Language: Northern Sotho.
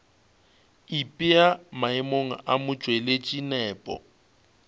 ipea maemong a motšweletši nepo